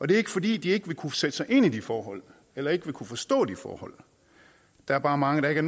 det er ikke fordi de ikke vil kunne sætte sig ind i de forhold eller ikke vil kunne forstå de forhold der er bare mange der ikke